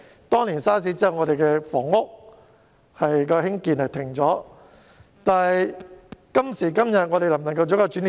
當年 SARS 後我們停止興建房屋，今時今日能否成為一個轉捩點？